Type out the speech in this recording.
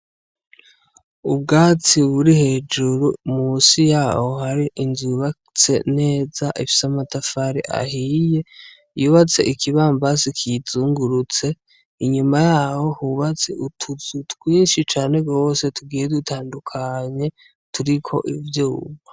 Ubwatsi buri hejuru musi yaho hari inzu yubatse neza ifise amatafari ahiye yubatse ikibambazi kiyizungurutse inyuma yaho hubatse utuzu twinshi cane gose tugiye dutandukanye turiko ivyuma.